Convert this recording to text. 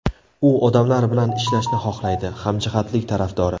U odamlar bilan ishlashni xohlaydi, hamjihatlik tarafdori.